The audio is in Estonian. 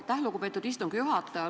Aitäh, lugupeetud istungi juhataja!